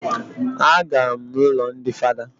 A gara m ụlọ ndị father